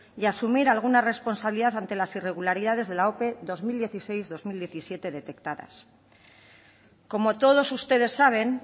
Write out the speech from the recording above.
y asumir alguna responsabilidad ante las irregularidades de la ope dos mil dieciséis dos mil diecisiete detectadas como todos ustedes saben